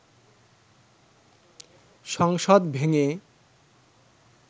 সংসদ ভেঙে